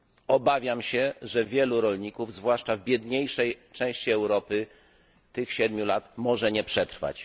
Obawiam się, że wielu rolników, zwłaszcza w biedniejszej części Europy, tych siedmiu lat może nie przetrwać.